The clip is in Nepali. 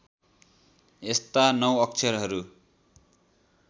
यस्ता नौ अक्षरहरू